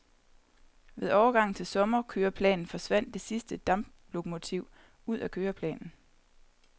Ved overgangen til sommerkøreplanen forsvandt det sidste damplokomotiv ud af køreplanen.